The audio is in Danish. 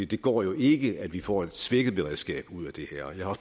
det går jo ikke at vi får et svækket beredskab ud af det her jeg har